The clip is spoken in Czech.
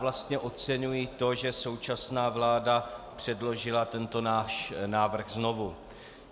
Vlastně oceňuji to, že současná vláda předložila tento náš návrh znovu.